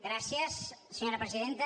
gràcies senyora presidenta